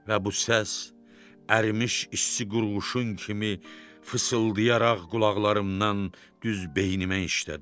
Və bu səs ərimiş isti qurğuşun kimi fısıldayaraq qulaqlarımdan düz beynimə işlədi.